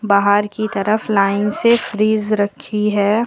बाहर की तरफ लाइन से फ्रिज रखी है।